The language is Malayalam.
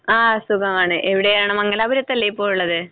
ആ സുഖമാണ്. എവിടെയാണ്? മംഗലാപുറത്തല്ലേ ഇപ്പോൾ ഉള്ളത്?